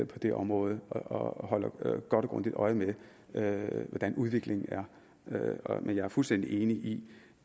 på det område og holder godt og grundigt øje med hvordan udviklingen er men jeg er fuldstændig enig i